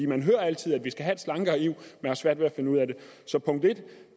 man hører altid at vi skal have et slankere eu så punkt en